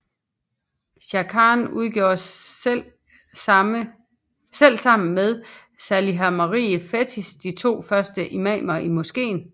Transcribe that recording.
Khankan udgjorde selv sammen med Saliha Marie Fetteh de to første imamer i moskeen